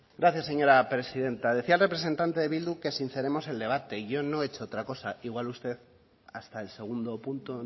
gracias señora presidenta decía el representante de bildu que sinceremos el debate yo no he hecho otra cosa igual usted hasta el segundo punto